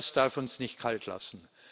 Das darf uns nicht kalt lassen.